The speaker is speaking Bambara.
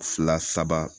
Fila saba